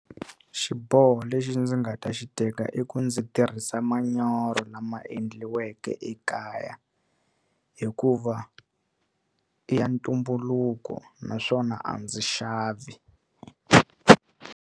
Xiboho lexi ndzi nga ta xi teka i ku ndzi tirhisa manyoro lama endliweke ekaya hikuva i ya ntumbuluko naswona a ndzi xavi.